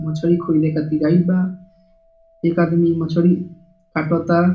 मछली खोजे खातिर आइल बा एक आदमी मछली कटाता ।